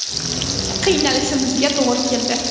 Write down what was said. Qiynalishimizga to‘g‘ri keldi.